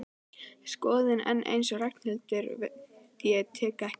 Skoðun, en eins og Ragnhildur veit tek ég lengi við.